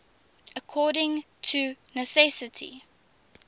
according to necessity